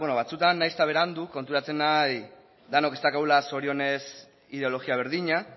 bueno batzuetan nahiz eta berandu konturatzen naiz denok ez daukagula zorionez ideologia berdina